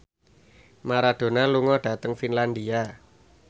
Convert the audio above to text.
Maradona lunga dhateng Finlandia